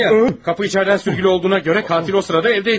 Kapı içerden sürgülü olduğuna görə katil o sırada evdəydi.